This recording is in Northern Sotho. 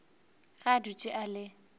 ge a dutše a le